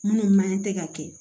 Minnu man tɛ ka kɛ